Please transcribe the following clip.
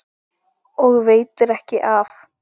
Og veitir ekki af.